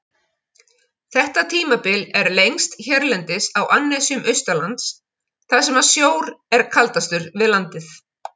Þetta tímabil er lengst hérlendis á annesjum austanlands, þar sem sjór er kaldastur við landið.